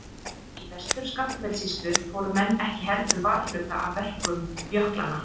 Í Vestur-Skaftafellssýslu fóru menn ekki heldur varhluta af verkum jöklanna.